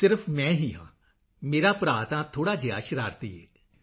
ਸਿਰਫ ਮੈਂ ਹੀ ਹਾਂ ਮੇਰਾ ਭਰਾ ਤਾਂ ਥੋੜ੍ਹਾ ਜਿਹਾ ਸ਼ਰਾਰਤੀ ਹੈ